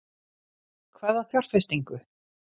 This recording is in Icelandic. Hvaða fjárfestingu?